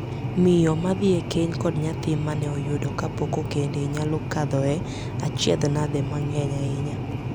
Miyo ma dhii e keny kod nyathi mane oyudo kapok okende nyalo kadhoe achiedhnade mang'eny ahinya.